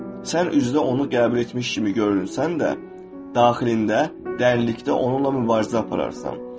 Sən üzdə onu qəbul etmiş kimi görünsən də, daxilində, dərinlikdə onunla mübarizə apararsan.